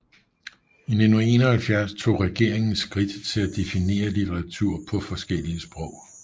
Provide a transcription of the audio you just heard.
I 1971 tog regeringen skridt til at definere litteratur på forskellige sprog